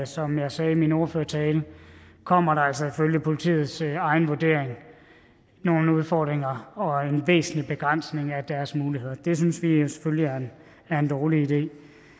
som jeg sagde i min ordførertale kommer der altså ifølge politiets egen vurdering nogle udfordringer og en væsentlig begrænsning af deres muligheder og det synes vi jo selvfølgelig er en dårlig idé